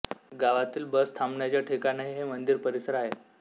गावातील बस थांबण्याचे ठिकाणही हे मंदिर परिसर आहे